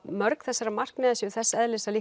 mörg þessara markmiða séu þess eðlis að